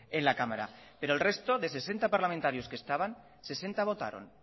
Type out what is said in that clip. en la cámara pero el resto de sesenta parlamentarios que estaban sesenta votaron